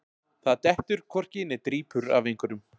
Það dettur hvorki né drýpur af einhverjum